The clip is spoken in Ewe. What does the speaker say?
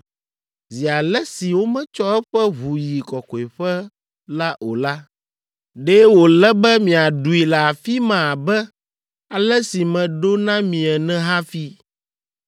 Zi ale si wometsɔ eƒe ʋu yi kɔkɔeƒe la o la, ɖe wòle be miaɖui le afi ma abe ale si meɖo na mi ene hafi.”